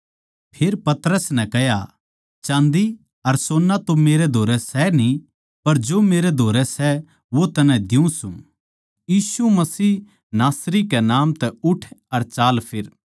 फेर पतरस नै कह्या चाँदी अर सोन्ना तो मेरै धोरै सै न्ही पर जो मेरै धोरै सै वो तन्नै दियुँ सूं यीशु मसीह नासरी कै नाम तै उठ अर चालफिर